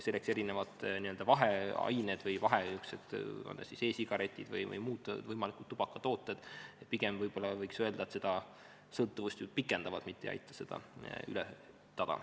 Erinevad n-ö vaheained, on nad siis e-sigaretid või muud võimalikud tubakatooted, pigem võib-olla võiks öelda, seda sõltuvust just pikendavad, mitte ei aita seda ületada.